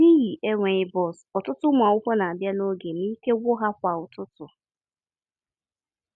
N'ihi enweghị bọs, ọtụtụ ụmụ akwụkwọ na-abịa n'oge ma ike gwụ ha kwa ụtụtụ.